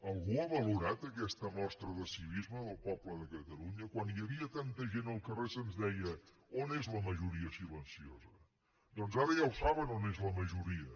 algú ha valorat aquesta mostra de civisme del poble de catalunya quan hi havia tanta gent al carrer se’ns deia on és la majoria silenciosa doncs ara ja ho saben on és la majoria